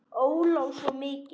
Óla og svo mig.